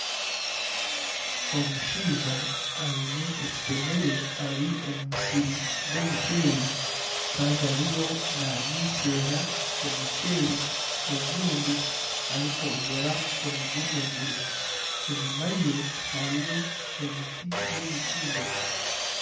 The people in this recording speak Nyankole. Omushaija aine ekitemere ari omu musiri gw'omukyeeri kandi ariyo namiseera omukyeeri ogundi arikwongyera omu gumezire. Enyima ye hariyo emiti y'emikindo.